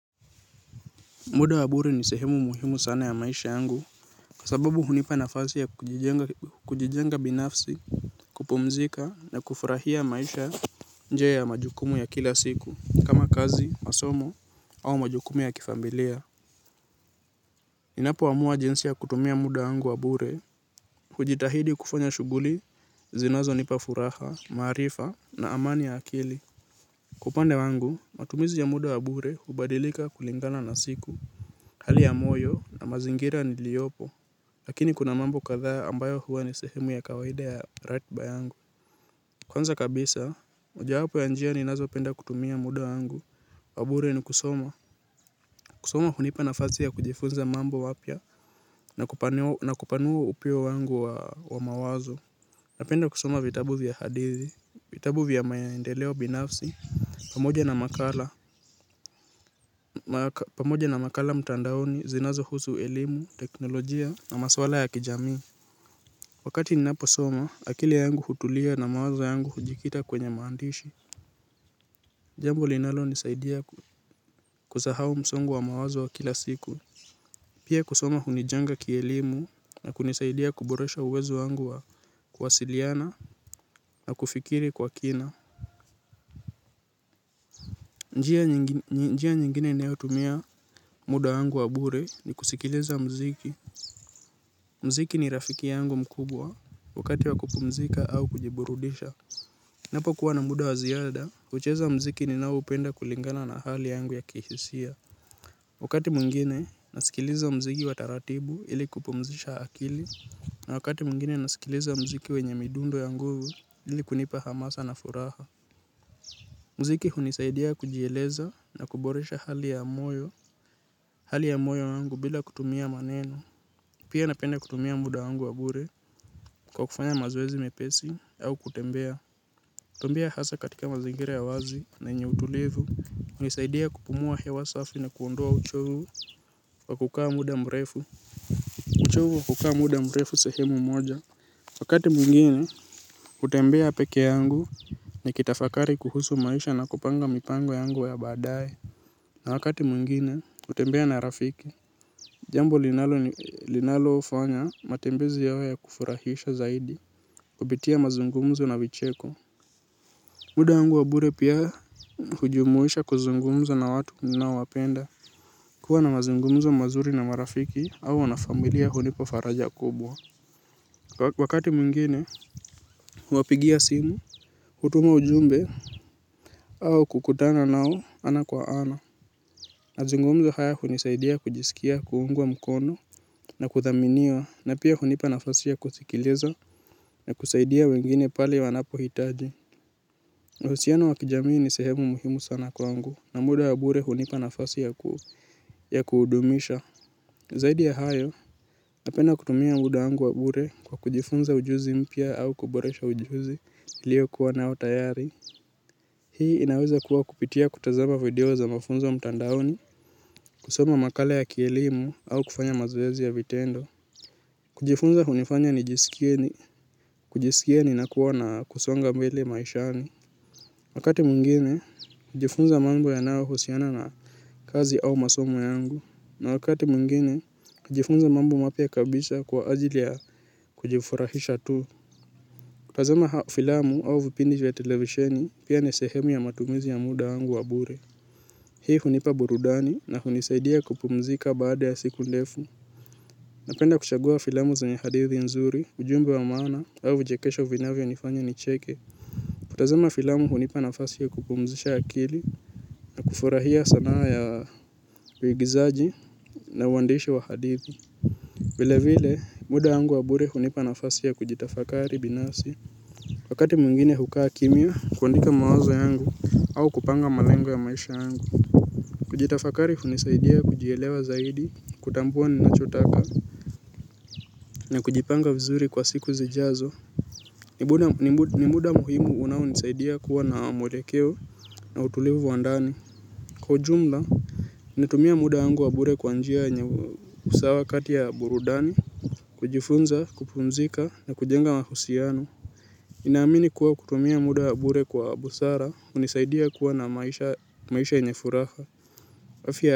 Muda wa bure ni sehemu muhimu sana ya maisha yangu. Kwa sababu hunipa nafasi ya kujijenga binafsi. Kupumzika na kufurahia maisha nje ya majukumu ya kila siku kama kazi masomo au majukumu ya kifamilia ninapoamua jinsi ya kutumia muda wangu wa bure. Hujitahidi kufanya shughuli zinazonipa furaha maarifa na amani ya akili. Kwa upande wangu matumizi ya muda wa bure hubadilika kulingana na siku. Hali ya moyo na mazingira niliyopo, lakini kuna mambo kadhaa ambayo huwa ni sehemu ya kawaida ya ratba yangu. Kwanza kabisa, mojawapo ya njia ninazopenda kutumia muda yangu, wa bure ni kusoma. Kusoma hunipa nafasi ya kujifunza mambo wapya na kupanua upeo wangu wa mawazo. Napenda kusoma vitabu vya hadithi, vitabu vya maendeleo binafsi, pamoja na makala mtandaoni, zinazohusu elimu, teknolojia, na maswala ya kijamii. Wakati ninaposoma akili yangu hutulia na mawazo yangu hujikita kwenye maandishi. Jambo linalonisaidia kusahau msongo wa mawazo wa kila siku. Pia kusoma hunijenga kielimu na kunisaidia kuboresha uwezo wangu wa kuwasiliana na kufikiri kwa kina. Njia nyingine nayotumia muda wangu wa bure. Ni kusikiliza mziki. Mziki ni rafiki yangu mkubwa. Wakati wa kupumzika au kujiburudisha napokuwa na muda wa ziada hucheza mziki ninaoupenda kulingana na hali yangu ya kihisia. Wakati mwengine nasikiliza mziki wa taratibu ili kupumzisha akili na wakati mwengine nasikiliza mziki wenye midundo ya nguvu ili kunipa hamasa na furaha. Mziki hunisaidia kujieleza na kuboresha hali ya moyo. Hali ya moyo yangu bila kutumia maneno. Pia napenda kutumia muda wangu wa bure kwa kufanya mazoezi mepesi au kutembea. Tembea hasa katika mazingira ya wazi na yenye utulivu hunisaidia kupumua hewa safi na kuondoa uchovu wa kukaa muda mrefu uchovu wa kukaa muda mrefu sehemu moja. Wakati mwengine hutembea peke yangu. Nikitafakari kuhusu maisha na kupanga mipango yangu ya baadaye na wakati mwengine hutembea na rafiki. Jambo linalofanya matembezi yawe ya kufurahisha zaidi. Kupitia mazungumzo na vicheko. Muda wangu wa bure pia hujumuisha kuzungumza na watu ninaowapenda. Kuwa na mazungumzo mazuri na marafiki au na familia hunipa faraja kubwa. Wakati mwingine, huwapigia simu, hutuma ujumbe au kukutana nao ana kwa ana. Mazungumzo haya hunisaidia kujisikia, kuungwa mkono na kuthaminiwa na pia hunipa nafasi ya kusikiliza na kusaidia wengine pale wanapohitaji. Mahusiano wa kijamii ni sehemu muhimu sana kwangu na muda ya bure hunipa nafasi ya kudumisha. Zaidi ya hayo, napenda kutumia muda wangu wa bure kwa kujifunza ujuzi mpya au kuboresha ujuzi niliyokuwa nao tayari. Hii inaweza kuwa kupitia kutazama video za mafunzo mtandaoni, kusoma makala ya kielimu au kufanya mazoezi ya vitendo. Kujifunza hunifanya nijisikie ni, kujisikie ninakuwa na kusonga mbele maishani. Wakati mwengine kujifunza mambo yanayohusiana na kazi au masomo yangu na wakati mwengine kujifunza mambo mapya kabisa kwa ajili ya kujifurahisha tu. Kutazama au filamu au vipindi ya televisheni pia ni sehemu ya matumizi ya muda wangu wa bure. Hii hunipa burudani na hunisaidia kupumzika baada ya siku ndefu. Napenda kuchagua filamu zenye hadithi nzuri ujumbe wa maana au vichekesho uvinavyonifanya nicheke. Kutazama filamu hunipa nafasi ya kupumzisha akili na kufurahia sanaa ya uigizaji na uandishi wa hadithi. Vile vile, muda wangu wa bure hunipa nafasi ya kujitafakari binafsi. Wakati mwengine hukaa kimya, kuandika mawazo yangu au kupanga malengo ya maisha yangu. Kujitafakari hunisaidia kujielewa zaidi, kutambua ninachotaka, na kujipanga vizuri kwa siku zijazo. Ni muda muhimu unaonisaidia kuwa na mwelekeo na utulivu wa ndani. Kwa ujumla, natumia muda wangu wa bure kwa njia yenye usawa kati ya burudani kujifunza, kupumzika na kujenga mahusiano ninaamini kuwa kutumia muda wa bure kwa busara hunisaidia kuwa na maisha yenye furaha afya.